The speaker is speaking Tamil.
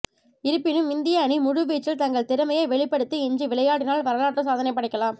இருப்பினும் இந்திய அணி முழுவீச்சில் தங்கள் திறமையை வெளிப்படுத்தி இன்று விளையாடினால் வரலாற்று சாதனை படைக்கலாம்